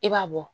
I b'a bɔ